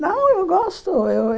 Não, eu gosto. Eu